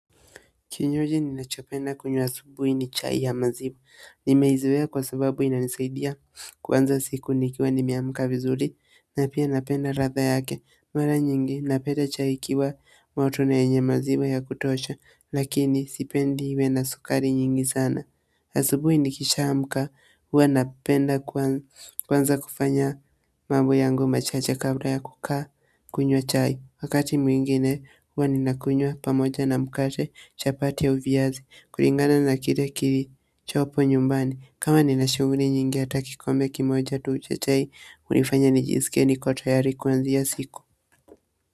Kinywaji ninachopenda kunywa asubuhi ni chai ya maziwa. Nimeizoea kwa sababu inanisaidia. Kuanza siku nikiwa nimeamka vizuri na pia napenda ladha yake mara nyingi napenda chai ikiwa moto na yenye maziwa ya kutosha lakini sipendi iwe na sukari nyingi sana. Asubuhi nikishaamka huwa napenda kwanza kufanya mambo yangu machache kabla ya kukaa. Kunywa chai. Wakati mwingine huwa nakunywa kwa mkate, chapati au viazi kulingana na kile kilichopo nyumbani. Kama nina shughuli nyingi hata kikombe kimoja cha chai hunifanya nijisikie niko tayari kuanza sikum.